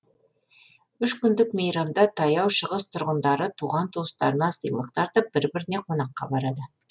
үш күндік мейрамда таяу шығыс тұрғындары туған туыстарына сыйлық тартып бір біріне қонаққа барады